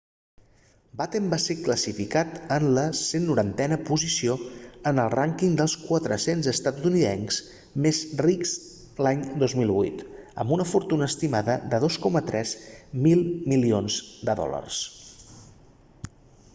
batten va ser classificat en la 190a posició en el rànquing dels 400 estatunidencs més rics l'any 2008 amb una fortuna estimada de 2,3 mil milions de dòlars